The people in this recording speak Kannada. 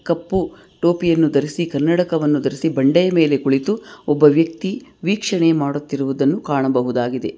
ಕಪ್ಪು ಟೋಪಿಯನ್ನು ಧರಿಸಿ ಕನ್ನಡಕವನ ಧರಿಸಿ ಬಂಡೆಯ ಮೇಲೆ ಕುಳಿತು ಒಬ್ಬ ವ್ಯಕ್ತಿ ವೀಕ್ಷಣೆ ಮಾಡುತ್ತಿರುವುದನ್ನ ಕಾಣಬಹುದಾಗಿದೆ.